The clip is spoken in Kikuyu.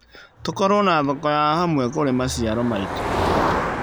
Tũkorwo na thoko ya hamwe kũrĩ maciaro maitũ.